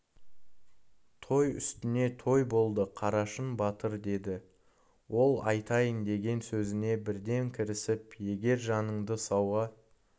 той үстіне той болды қарашың батыр деді ол айтайын деген сөзіне бірден кірісіп егер жаныңды сауға